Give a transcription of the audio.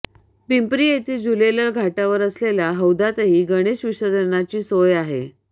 पिंपरी येथील झुलेलाल घाटावर असलेल्या हौदातही गणेश विसर्जनाची सोय आहे